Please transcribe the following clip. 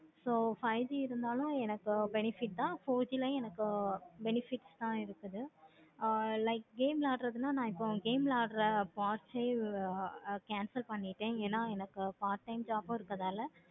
so five G இருந்தாலும் எனக்கு benefit தான் four G ளையும் எனக்கு benefits தான் இருக்குது. ஆஹ் like game விளையாடுறத்துனா நா இப்போ game விளையாடுற past ஏ cancel பண்ணிட்டேன். என எனக்கு part time job இருக்கனால